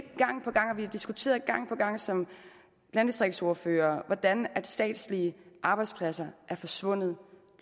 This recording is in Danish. og vi har diskuteret gang på gang som landdistriktsordførere hvordan statslige arbejdspladser er forsvundet